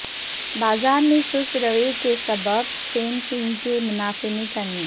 بازار میں سست روی کے سبب سیم سنگ کے منافع میں کمی